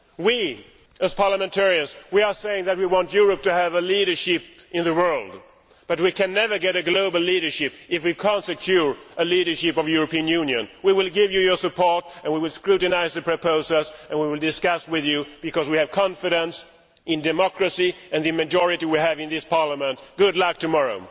We, as parliamentarians, are saying that we want Europe to have leadership in the world, but we can never have global leadership if we cannot ensure leadership of the European Union. We will give you our support, and we will scrutinise the proposals, and we will discuss with you, because we have confidence in democracy and the majority we have in this Parliament. Good luck tomorrow.